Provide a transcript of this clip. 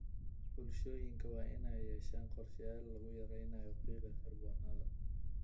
Bulshooyinka waa inay yeeshaan qorshayaal lagu yareeyo qiiqa kaarboon-da.